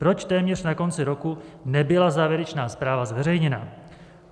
Proč téměř na konci roku nebyla závěrečná zpráva zveřejněna?